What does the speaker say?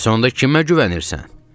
Bəs onda kimə güvənirsən?